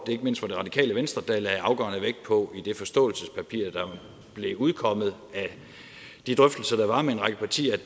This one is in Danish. det ikke mindst var radikale venstre der i det forståelsespapir der blev udkommet af de drøftelser der var med en række partier